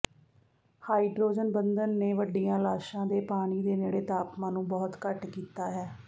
hydrogen ਬੰਧਨ ਨੇ ਵੱਡੀਆਂ ਲਾਸ਼ਾਂ ਦੇ ਪਾਣੀ ਦੇ ਨੇੜੇ ਤਾਪਮਾਨ ਨੂੰ ਬਹੁਤ ਘੱਟ ਕੀਤਾ ਹੈ